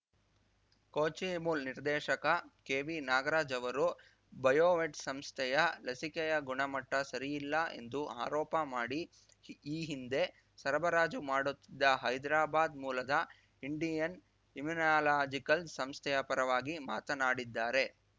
ಕೋಚಿಮುಲ್‌ ನಿರ್ದೇಶಕ ಕೆವಿನಾಗರಾಜ್‌ ಅವರು ಬಯೋವೆಟ್‌ ಸಂಸ್ಥೆಯ ಲಸಿಕೆಯ ಗುಣಮಟ್ಟಸರಿಯಿಲ್ಲ ಎಂದು ಆರೋಪ ಮಾಡಿ ಈ ಹಿಂದೆ ಸರಬರಾಜು ಮಾಡುತ್ತಿದ್ದ ಹೈದ್ರಾಬಾದ್‌ ಮೂಲದ ಇಂಡಿಯನ್‌ ಇಮ್ಯುನಲಾಜಿಕಲ್ಸ್‌ ಸಂಸ್ಥೆಯ ಪರವಾಗಿ ಮಾತನಾಡಿದ್ದಾರೆ